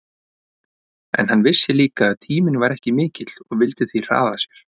En hann vissi líka að tíminn var ekki mikill og vildi því hraða sér.